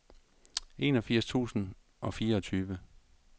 enogfirs tusind og fireogtyve